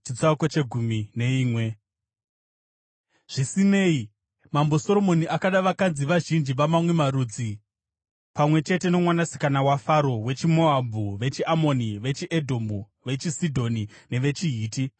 Zvisinei, Mambo Soromoni akada vakadzi vazhinji vamamwe marudzi pamwe chete nomwanasikana waFaro, wechiMoabhu, vechiAmoni, vechiEdhomu, vechiSidhoni nevechiHiti.